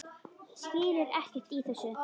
Skilur ekkert í þessu.